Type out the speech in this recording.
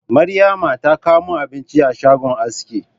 Maryama ta kawo mini abinci a shagon aski